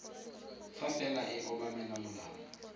fa fela e obamela molao